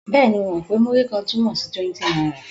Bẹ́ẹ̀ni, mo mọ̀ pé Múrí-kan túmọ̀ sí 20 náírà.